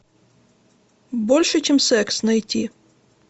больше чем секс найти